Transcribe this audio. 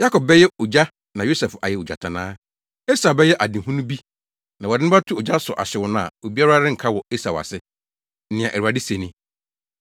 Yakob bɛyɛ ogya na Yosef ayɛ ogyatannaa; Esau bɛyɛ adehunu bi na wɔde no bɛto ogya so ahyew no a obiara renka wɔ Esau ase.” Nea Awurade se ni.